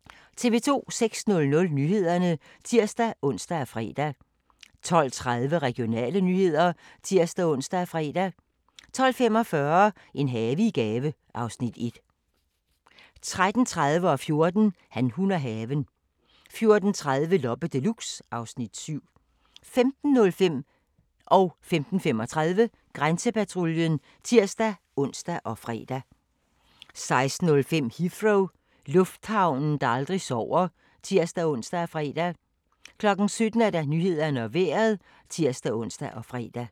06:00: Nyhederne (tir-ons og fre) 12:30: Regionale nyheder (tir-ons og fre) 12:45: En have i gave (Afs. 1) 13:30: Han, hun og haven 14:00: Han, hun og haven 14:30: Loppe Deluxe (Afs. 7) 15:05: Grænsepatruljen (tir-ons og fre) 15:35: Grænsepatruljen (tir-ons og fre) 16:05: Heathrow - lufthavnen, der aldrig sover (tir-ons og fre) 17:00: Nyhederne og Vejret (tir-ons og fre)